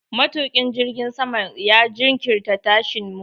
Matuƙin jirgin saman ya jinkirta tashin mu.